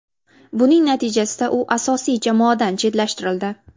Buning natijasida u asosiy jamoadan chetlashtirildi.